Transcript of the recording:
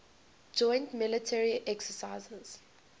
joint military exercises